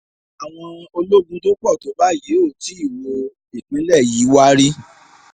àwọn ológun tó pọ̀ tó báyìí ò tí ì wo ìpínlẹ̀ yìí wá rí